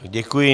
Děkuji.